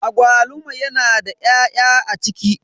Agwaluma yana da 'ya'ya a ciki.